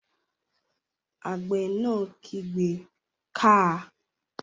Àgbẹ̀ náà kígbe "káa!"